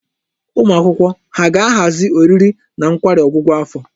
Ụmụ akwụkwọ ha ga-ahazi oriri na nkwari ọgwụgwụ afọ?